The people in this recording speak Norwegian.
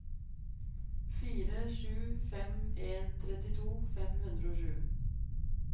fire sju fem en trettito fem hundre og sju